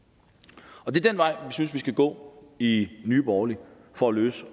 det er den vej vi synes vi skal gå i nye borgerlige for at løse